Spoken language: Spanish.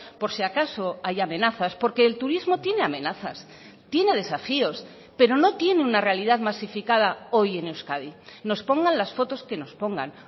por si acaso hay amenazas porque el turismo tiene amenazas tiene desafíos pero no tiene una realidad masificada hoy en euskadi nos pongan las fotos que nos pongan